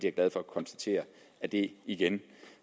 er glad for at konstatere at det igen